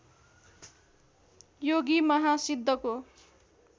योगी महा सिद्धको